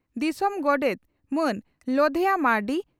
ᱫᱤᱥᱚᱢ ᱜᱚᱰᱮᱛ ᱢᱟᱱ ᱞᱚᱫᱷᱮᱭᱟ ᱢᱟᱨᱱᱰᱤ